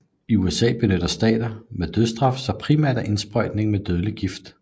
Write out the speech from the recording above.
I USA benytter stater med dødsstraf sig primært af indsprøjtning af dødelig gift